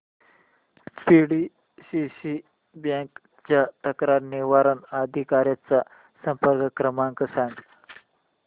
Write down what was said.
PDCC bank च्या तक्रार निवारण अधिकारी चा संपर्क क्रमांक सांग